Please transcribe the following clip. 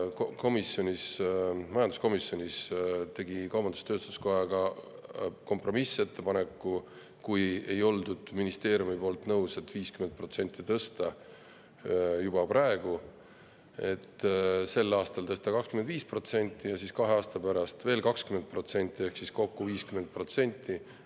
Kuna ministeerium ei olnud nõus, et 50% tõsta juba praegu, tegi kaubandus-tööstuskoda majanduskomisjonis kompromissettepaneku: sel aastal tõsta 25% ja kahe aasta pärast veel 20% ehk kokku 50%.